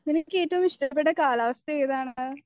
നിങ്ങൾക്കേറ്റവും ഇഷ്ടപ്പെട്ട കാലാവസ്ഥാ ഏതാണ്